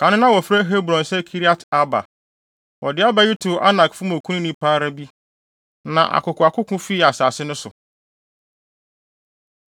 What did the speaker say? Kan no na wɔfrɛ Hebron sɛ Kiriat-Arba. Wɔde Arba yi too Anakfo mu okunini pa ara bi. Na akokoakoko fii asase no so.